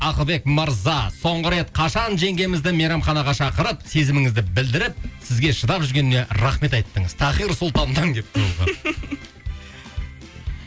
ақылбек мырза соңғы рет қашан жеңгемізді мейрамханаға шақырып сезіміңізді білдіріп сізге шыдап жүргеніне рахмет айттыңыз тахир сұлтаннан келіпті бұл хат